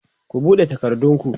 ku buɗe takardun ku!